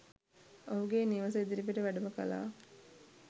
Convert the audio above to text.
ඔහුගේ නිවස ඉදිරිපිට වැඩම කළා.